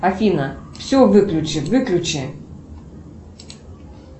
афина все выключи выключи